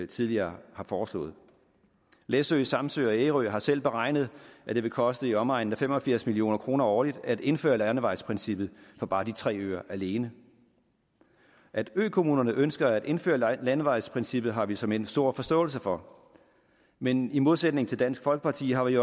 tidligere har foreslået læsø samsø og ærø har selv beregnet at det vil koste i omegnen af fem og firs million kroner årligt at indføre landevejsprincippet for bare de tre øer alene at økommunerne ønsker at indføre landevejsprincippet har vi såmænd stor forståelse for men i modsætning til dansk folkeparti har vi